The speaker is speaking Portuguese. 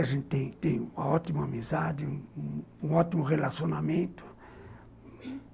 A gente tem tem uma ótima amizade, um um ótimo relacionamento.